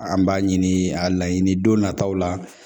An b'a ɲini a laɲini don nataw la